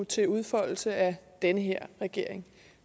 til udfoldelse af den her regering